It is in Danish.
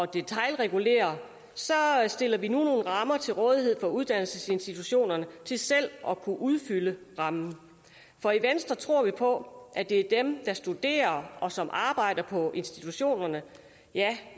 detailregulere stiller vi nu og rammer til rådighed for uddannelsesinstitutionerne til selv at kunne udfylde rammen for i venstre tror vi på at det er dem der studerer og som arbejder på institutionerne ja